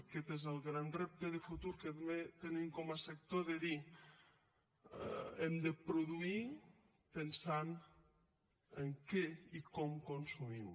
aquest és el gran repte de futur que tenim com a sector de dir hem de produir pensant en què i com consumim